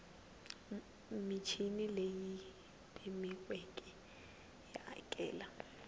michini leyi pimiweke yo hakela